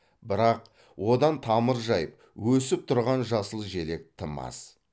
бірақ одан тамыр жайып өсіп тұрған жасыл желек тым аз